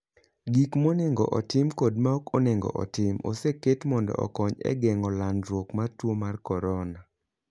Gik monego otim kod maok onego otim oseket mondo okony e geng'o landruok mar tuo mar corona